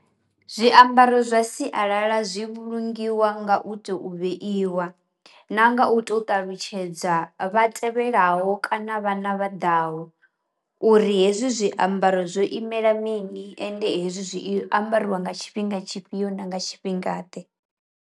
Zwiambaro zwa sialala zwi vhulungiwa nga u to vheiwa, na nga u to ṱalutshedza vha tevhelaho kana vhana vha ḓaho uri hezwi zwiambaro zwo imela mini ende hezwi zwi i ambariwa nga tshifhinga tshifhio na nga tshifhingaḓe.